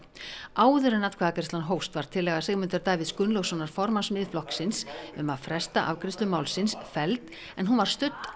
áður en atkvæðagreiðslan hófst var tillaga Sigmundar Davíðs Gunnlaugssonar formanns Miðflokksins um að fresta afgreiðslu málsins felld en hún var studd